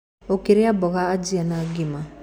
Ũkĩrĩa mboga ajia na ngima.